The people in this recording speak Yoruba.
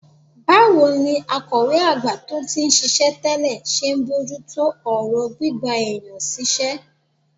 Báwo ni akọ̀wé àgbà tó ti ń ṣiṣẹ́ tẹ́lẹ̀ ṣe ń bójú tó ọ̀rọ̀ gbígba èèyàn síṣẹ́?